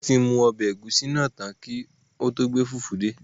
Wọn ti mu ọbẹ egusi naa tan ki o to gbe fufu de